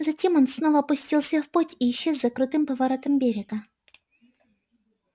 затем он снова пустился в путь и исчез за крутым поворотом берега